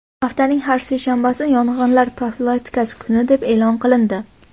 Haftaning har seshanbasi yong‘inlar profilaktikasi kuni deb e’lon qilindi.